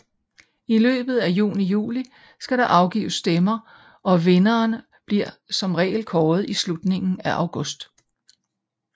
I løbet af juni og juli skal der afgives stemmer og vinderen bliver som regel kåret i slutningen af august